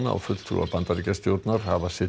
og fulltrúar Bandaríkjastjórnar hafa